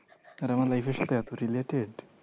আর আমার life এর সাথে এত related